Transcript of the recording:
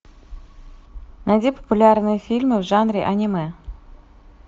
найди популярные фильмы в жанре аниме